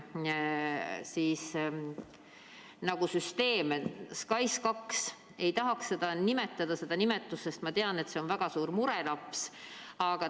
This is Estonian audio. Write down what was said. SKAIS2, ei tahaks küll seda nimetada, sest ma tean, et see on väga suur murelaps.